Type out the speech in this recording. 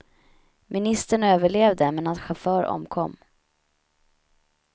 Ministern överlevde, men hans chaufför omkom.